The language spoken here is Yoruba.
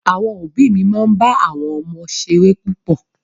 Àwọn òbí òbí mi máa ń bá àwọn ọmọ ṣeré púpọ̀